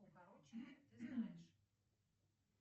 укороченные ты знаешь